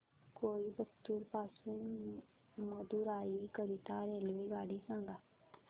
कोइंबतूर पासून मदुराई करीता रेल्वेगाडी सांगा